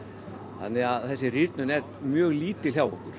þannig þessi rýrnun er mjög lítil hjá okkur